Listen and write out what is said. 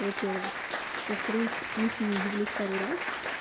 во-первых во-вторых мы с ним виделись пару раз